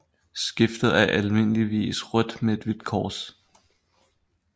Skæftet er almindeligvis rødt med et hvidt kors